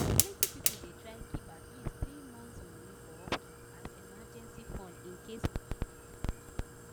plenty people dey try keep at least three months money for upkeep as emergency fund in case wahala show